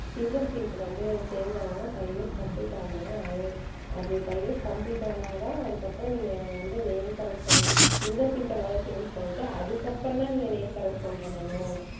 fingerprint வந்து change ஆகணும் five years complete ஆகணும்ங்க அது அது five years complete ஆனாதான் அதுக்கப்புறம் நீங்க வந்து name correction fingerprint அ முதல்ல change பண்ணிட்டு அதுக்கப்புறம்தான் நீங்க name correction பண்ணணும்